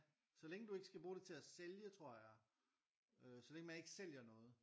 Så længe du ikke skal bruge det til at sælge tror jeg øh så længe man ikke sælger noget